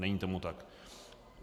Není tomu tak.